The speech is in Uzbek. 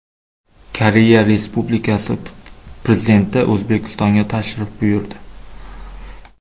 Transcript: Koreya Respublikasi Prezidenti O‘zbekistonga tashrif buyurdi.